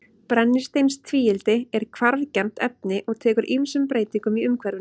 Brennisteinstvíildi er hvarfgjarnt efni og tekur ýmsum breytingum í umhverfinu.